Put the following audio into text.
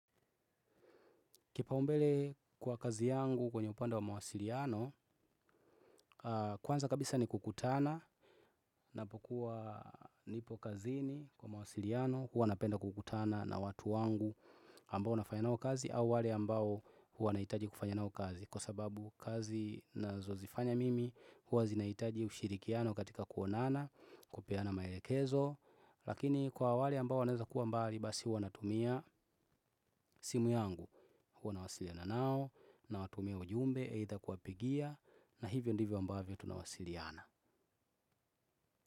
Kipaumbele kwa kazi yangu kwenye upande wa mawasiliano, kwanza kabisa ni kukutana, napokuwa nipo kazini kwa mawasiliano, huwa napenda kukutana na watu wangu ambao nafanya nao kazi au wale ambao huwa naitaji kufanya nao kazi. Kwa sababu kazi nazozifanya mimi huwa zinaitaji ushirikiano katika kuonana kupeana maelekezo lakini kwa wale ambao waneza kuwa mbali basi wanatumia simu yangu huwa nawasiliana nao na watumia ujumbe eitha kuapigia na hivyo ndivyo ambavyo tunawasiliana.